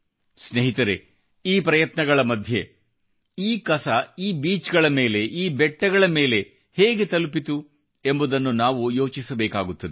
ಸ್ನೇಹಿತರೆ ಈ ಪ್ರಯತ್ನಗಳ ಮಧ್ಯೆ ಈ ಕಸ ಈ ಬೀಚ್ ಗಳ ಮೇಲೆ ಈ ಬೆಟ್ಟಗಳ ಮೇಲೆ ಹೇಗೆ ತಲುಪಿತು ಎಂಬುದನ್ನು ನಾವು ಯೋಚಿಸಬೇಕಾಗುತ್ತದೆ